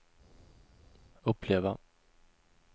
uppleva